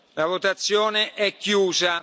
La votazione è chiusa.